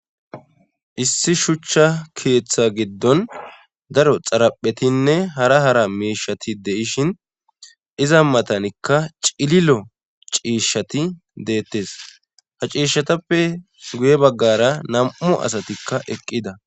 issi shuchcha keeththa giddon daro xaraphetinne hara hara miishati de'ishin iza matanikka cililo ciishshati deettes ha ciishshatappe guye baggara nam7u asatikka eqqida